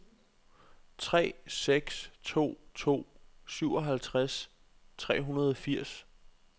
tre seks to to syvoghalvtreds tre hundrede og firs